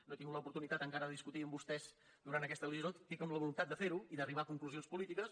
no he tingut l’oportunitat encara de discutir amb vostès durant aquesta legislatura estic amb la voluntat de fer ho i d’arribar a conclusions polítiques